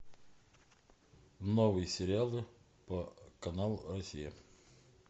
новые сериалы по каналу россия